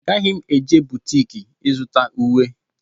Agaghị m eje butiki ịzụta ùwé.